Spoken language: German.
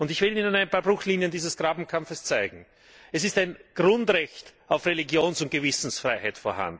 Ich will Ihnen ein paar Bruchlinien dieses Grabenkampfes zeigen Es gibt ein Grundrecht auf Religions und Gewissensfreiheit.